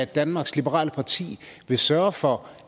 danmarks liberale parti vil sørge for